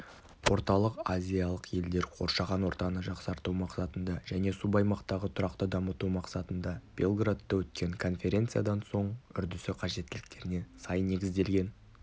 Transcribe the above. орталық-азиялық елдер қоршаған ортаны жақсарту мақсатында және субаймақтағы тұрақты дамыту мақсатында белградта өткен конференциядан соң үрдісі қажеттіліктеріне сай негізделген